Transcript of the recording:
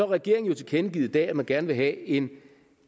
regeringen jo tilkendegivet i dag at man gerne vil have en